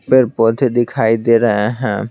पेड़ पौधे दिखाई दे रहे हैं।